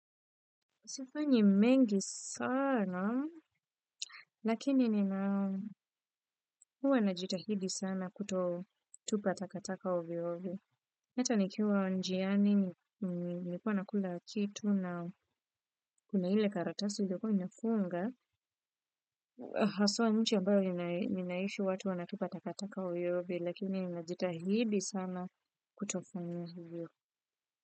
Sifanyi mengi sana, lakini nina huwa na jitahidi sana kuto tupa takataka ovio ovio. Hata nikiwa njiani, nikuwa na kula kitu na kuna hile karatasi iliyoko imefunga. Haswa nchi ambayo ninaishi watu wanatupa takataka ovyoi ovyo, lakini ninajitahidi sana kutofanya hivyo.